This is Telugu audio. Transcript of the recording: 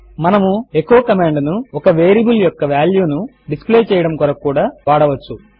మనము ఎచో కమాండ్ ను ఒక వేరియబుల్ యొక్క వాల్యూ ను డిస్ప్లే చేయడము కొరకు కూడా వాడవచ్చు